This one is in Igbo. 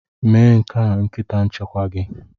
Mee nke a nkịta nchekwa gị!